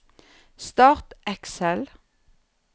Start Excel